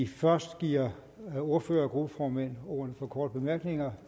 vi først giver ordførere og gruppeformænd ordet for korte bemærkninger